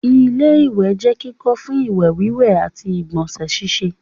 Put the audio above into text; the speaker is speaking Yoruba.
ilé-ìwẹ̀ jẹ́ kíkọ́ fún ìwẹ̀ wíwẹ̀ àti ìgbọ̀nsẹ̀ síse